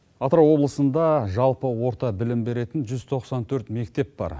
атырау облысында жалпы орта білім беретін жүз тоқсан төрт мектеп бар